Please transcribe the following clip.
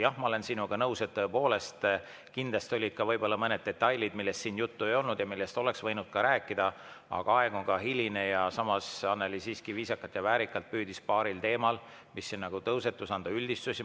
Jah, ma olen sinuga nõus, et tõepoolest, kindlasti olid ka mõned detailid, millest siin juttu ei olnud ja millest oleks võinud ka rääkida, aga aeg on ka hiline ja samas Annely siiski viisakalt ja väärikalt püüdis paaril teemal, mis tõusetusid, üldistusi teha.